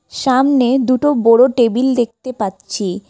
সামনে দুটো বড়ো টেবিল দেখতে পাচ্ছি।